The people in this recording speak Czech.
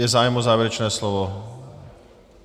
Je zájem o závěrečné slovo?